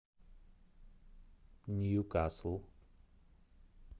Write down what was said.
ньюкасл